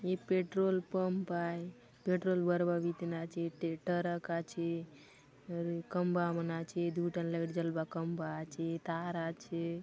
ये petrol pump आय petrol भरवा बीतेन आछे ते टरक आछे और खंबा मन आछे दू ठन लाइट जलवा खंबा आछे तार आछे।